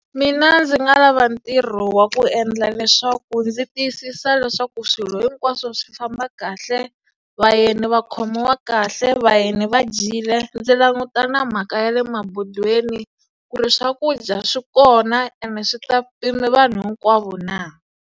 Mina ndzi nga lava ntirho wa ku endla leswaku ndzi tiyisisa leswaku swilo hinkwaswo swi famba kahle, vayeni va khomiwa kahle, vayeni va dyile, ndzi languta na mhaka ya le mabodweni ku ri swakudya swi kona ene swi ta pima vanhu hinkwavo na.